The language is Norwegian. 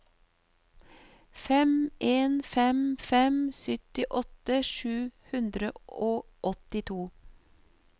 fem en fem fem syttiåtte sju hundre og åttito